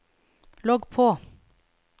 logg på